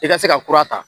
I ka se ka kura ta